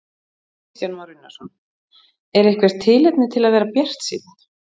Kristján Már Unnarsson: Er eitthvert tilefni til að vera bjartsýnn?